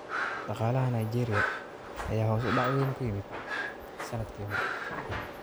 Dhaqaalaha Nigeria ayaa hoos u dhac weyn ku yimid sanadkii hore